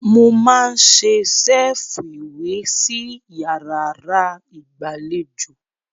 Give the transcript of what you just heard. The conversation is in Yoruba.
Mo máa n ṣe ṣẹ́ẹ́fù ìwé sí yàrárá ìgbàlejò.